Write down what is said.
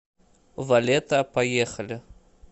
валета поехали